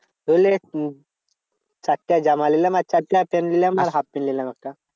ধরলে চারটা জামা নিলাম আর চারটে half প্যান্ট নিলাম আর half প্যান্ট নিলাম একটা।